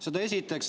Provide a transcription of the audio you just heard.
Seda esiteks.